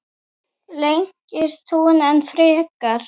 Lengist hún enn frekar?